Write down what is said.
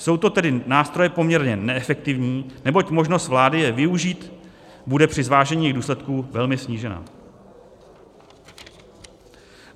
Jsou to tedy nástroje poměrně neefektivní, neboť možnost vlády je využít bude při zvážení jejich důsledků velmi snížena.